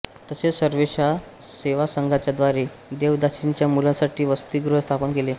तसेच सर्वेषा सेवासंघाच्या द्वारे देवदासींच्या मुलांसाठी वसतीगृह स्थापन केले